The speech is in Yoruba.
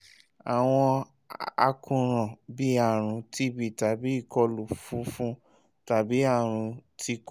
awọn àkóràn bii arun tb tabi ikọlu funfun tabi arun ti kokoro